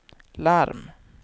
larm